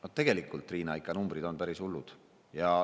No tegelikult, Riina, on numbrid ikka päris hullud.